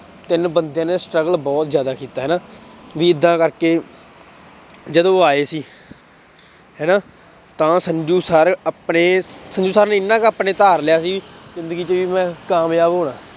ਤਿੰਨ ਬੰਦਿਆਂ ਨੇ struggle ਬਹੁਤ ਜ਼ਿਆਦਾ ਕੀਤਾ ਹਨਾ ਵੀ ਏਦਾਂ ਕਰਕੇ ਜਦੋਂ ਉੁਹ ਆਏ ਸੀ ਹਨਾ ਤਾਂ ਸੰਜੂ ਸਰ ਆਪਣੇ ਸੰਜੂ ਸਰ ਨੇ ਇੰਨਾ ਕੁ ਆਪਣੇ ਧਾਰ ਲਿਆ ਸੀ ਜ਼ਿੰਦਗੀ ਚ ਵੀ ਮੈਂ ਕਾਮਯਾਬ ਹੋਣਾ।